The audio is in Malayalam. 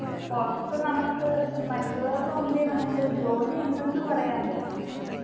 പുറത്തു നമ്മുക്ക് മറ്റുള്ളവരുടെ മുമ്പിൽ നമ്മുക്കൊരു ജോലി ഉണ്ടെന്ന് പറയാൻ പറ്റും